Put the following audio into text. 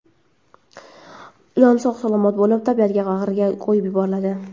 Ilon sog‘-salomat bo‘lib, tabiat bag‘riga qo‘yib yuboriladi.